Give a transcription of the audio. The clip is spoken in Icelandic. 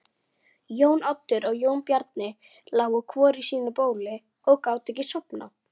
Farðu í ró.